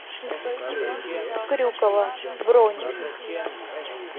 крюково бронь